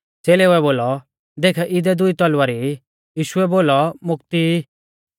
च़ेलेउऐ बोलौ देख इदै दुई तलवारी ई यीशुऐ बोलौ मोकती ई